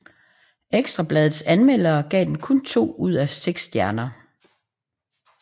Ekstra Bladets anmelder gav den kun to ud af seks stjerner